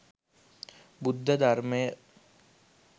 බුද්ධ ධර්මය